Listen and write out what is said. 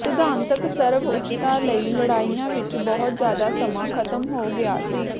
ਸਿਧਾਂਤਕ ਸਰਵਉੱਚਤਾ ਲਈ ਲੜਾਈਆਂ ਵਿੱਚ ਬਹੁਤ ਜ਼ਿਆਦਾ ਸਮਾਂ ਖਤਮ ਹੋ ਗਿਆ ਸੀ